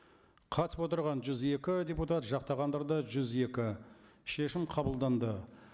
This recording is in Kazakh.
қатысып отырған жүз екі депутат жақтағандар да жүз екі шешім қабылданды